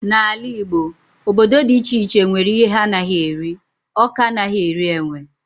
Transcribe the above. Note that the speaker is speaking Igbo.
N'ala Igbo, obodo dị iche iche nwere ihe ha anaghị eri, Awka anaghị eri enwe.